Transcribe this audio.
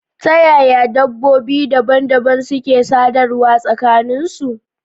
Ta yaya dabbobi dabam-dabam suke sadarwa tsakanin su?